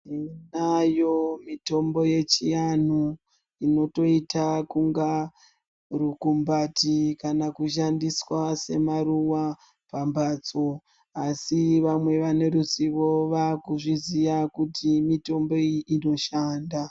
Tinayo mitombo yechianhu inotoita kunga rukumbati kana kushandiswa semaruwa pambatso asi vamwe vane ruzivo vaakuzviziya kuti mitombo iyi inoshanda.